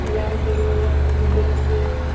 எல்லாரும் சேர்ந்து ஒரு இடத்துல வந்து பேசி